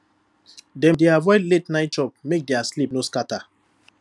dem dey avoid la ten ight chop make their sleep no scatter